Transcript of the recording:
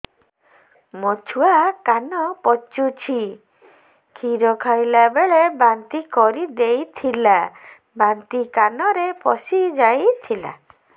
ମୋ ଛୁଆ କାନ ପଚୁଛି କ୍ଷୀର ଖାଇଲାବେଳେ ବାନ୍ତି କରି ଦେଇଥିଲା ବାନ୍ତି କାନରେ ପଶିଯାଇ ଥିଲା